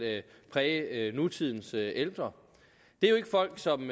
præge nutidens ældre det er jo ikke folk som